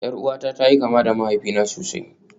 Yar uwata ta yi kama da mahaifina sosai